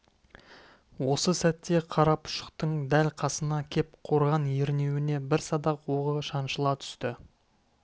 осы сәтте қарапұшықтың дәл қасына кеп қорған ернеуіне бір садақ оғы шаншыла түсті